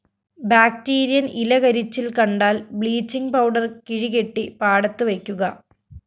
ബാക്ടീരിയന്‍ ഇലകരിച്ചില്‍ കണ്ടാല്‍ bleaching powder കിഴികെട്ടി പാടത്തു വയ്ക്കുക